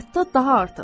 Hətta daha artıq.